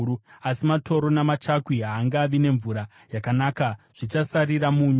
Asi matoro namachakwi haangavi nemvura yakanaka; zvichasarira munyu.